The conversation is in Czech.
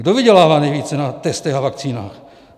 Kdo vydělává nejvíce na testech a vakcínách?